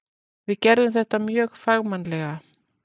Við gerðum þetta mjög fagmannlega.